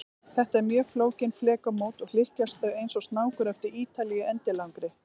Þetta eru mjög flókin flekamót, og hlykkjast þau eins og snákur eftir Ítalíu endilangri.